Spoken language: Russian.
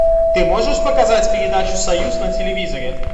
ты можешь показать передачу союз на телевизоре